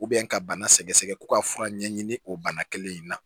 ka bana sɛgɛsɛgɛ ko ka fura ɲɛɲini o bana kelen in na